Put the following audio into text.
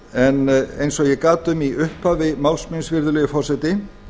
en eins og ég gat um í upphafi máls míns virðulegi forseti